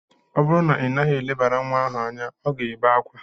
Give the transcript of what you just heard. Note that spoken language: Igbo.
Ọ bụrụ na ị naghị elebara nwa ahụ anya, ọ ga-ebe akwa.